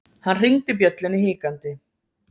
Hann hringdi bjöllunni hikandi.